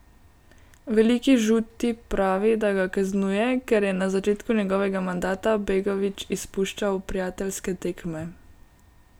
Veliki žuti pravi, da ga kaznuje, ker je na začetku njegovega mandata Begović izpuščal prijateljske tekme.